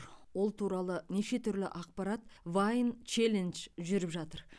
ол туралы неше түрлі ақпарат вайн челлендж жүріп жатыр